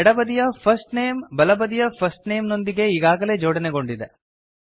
ಎಡ ಬದಿಯ first name ಬಲ ಬದಿಯ ಫರ್ಸ್ಟ್ ನೇಮ್ ನೊಂದಿಗೆ ಈಗಾಗಲೇ ಜೋಡಣೆಗೊಂಡಿದೆ